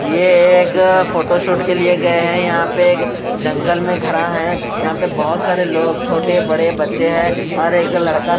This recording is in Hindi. ये एक फोटोशूट के लिए गए हैं यहां पे एक जंगल में खड़ा है यहां पे बहोत सारे लोग छोटे बड़े बच्चे हैं और एक लड़का--